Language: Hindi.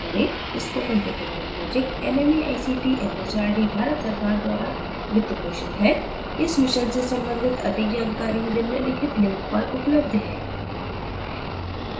spoken tutorial project nmeict mhrd Bharat सरकार द्वारा वित्तपोषित है इस मिशन से संबंधित अधिक जानकारी निम्नलिखित लिंक पर उपलब्ध है